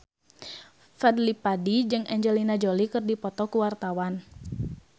Fadly Padi jeung Angelina Jolie keur dipoto ku wartawan